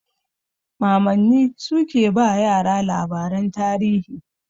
Mamanni sukan ba yara labaran tarihi.